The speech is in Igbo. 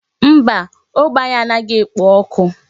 Mba, ógbè anyị a naghị ekpo ọkụ.